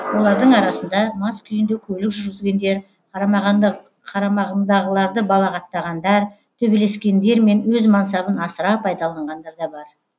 олардың арасында мас күйінде көлік жүргізгендер қарамағындағыларды балағаттағандар төбелескендер мен өз мансабын асыра пайдаланғандар да бар